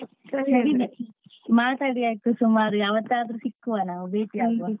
ಹಾಗೆ ಮಾತಾಡಿ ಆಯ್ತು ಸುಮಾರು ಯಾವತ್ತಾದ್ರೂ ಸಿಕ್ಕುವ ನಾವು.